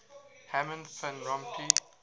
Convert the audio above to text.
herman van rompuy